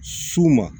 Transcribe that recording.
S'u ma